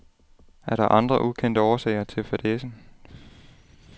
Er der andre ukendte årsager til fadæsen.